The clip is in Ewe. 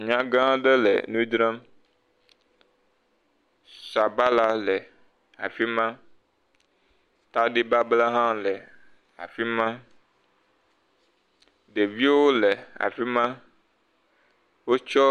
Nyagã aɖe le nu dzram. Sabala le afi ma, tadibabla hã le afi ma. Ɖeviwo le afi ma. Wotsɔ.